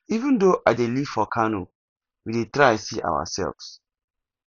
even though i dey live for kano we dey try see ourselves